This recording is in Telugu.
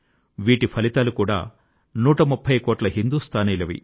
వీటి ఫలితాలు కూడా నూటముప్ఫై కోట్ల హిందూస్థానీలవి